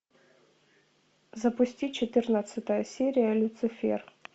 запусти четырнадцатая серия люцифер